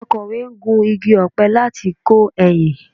Akọ̀we ń gu igi ọ̀pẹ láti kọ ẹyìn